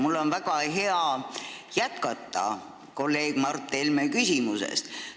Mul on väga hea minna edasi kolleeg Mart Helme küsimusest.